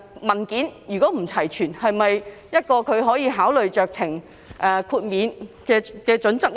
文件不齊全又是否酌情豁免的考慮因素呢？